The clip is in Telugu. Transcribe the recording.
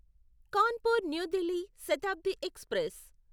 Kanpur New Delhi Shatabdi express